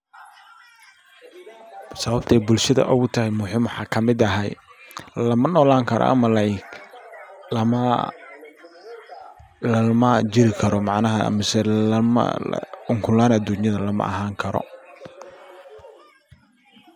Sababtay bulshada ogu tahay muhiim waxa kamid ahay lama nolan karo ama like lama lalama jiri karo macnaha mise lama ukun laan adunyada lama ahan karo.